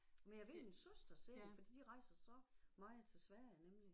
Men jeg ved min søster ser det fordi de rejser så meget til Sverige nemlig